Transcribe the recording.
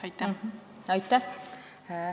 Aitäh!